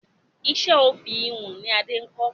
Iṣẹ́ òfì ìhun ni Adé kọ́